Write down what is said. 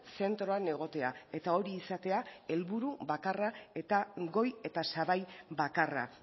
zentroan egotea eta hori izatea helburu bakarra eta goi eta sabai bakarra